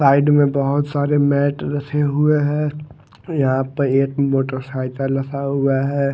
Side में बहोत सारे मैट रखे हुए हैं। यहां पे एक मोटरसाइकिल रखा हुआ हैं।